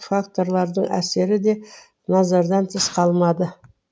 факторлардың әсері де назардан тыс қалмады